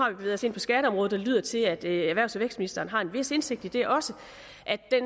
jo bevæget os ind på skatteområdet og det lyder til at erhvervs og vækstministeren har en vis indsigt i det også